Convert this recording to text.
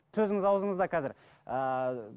сөзіңіз аузыңызда қазір ыыы